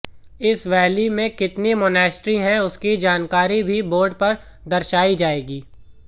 इस वैली में कितनी मोनेस्ट्री है उसकी जानकारी भी बोर्ड पर दर्शाई जाएगी